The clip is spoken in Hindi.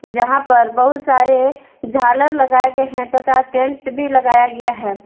जहां पर बहुत सारे झालर लगाए गए हैं तथा टेंट भी लगाया गया है।